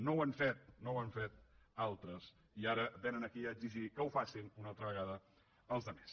no ho han fet no ho han fet altres i ara vénen aquí a exigir que ho facin una altra vegada els altres